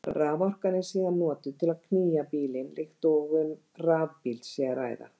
Raforkan er síðan notuð til að knýja bílinn líkt og um rafbíl sé að ræða.